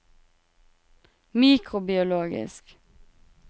mikrobiologisk